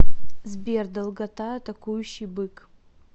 сбер долгота атакующий бык